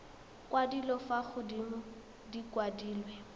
kwadilwe fa godimo di kwadilwe